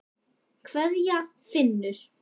Kveðja, Finnur.